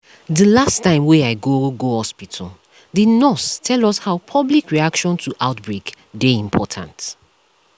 dey last time wey i go go hospitalthe nurse tell us how public reaction to outbreak dey important